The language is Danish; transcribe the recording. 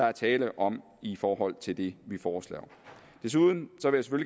er tale om i forhold til det vi foreslår desuden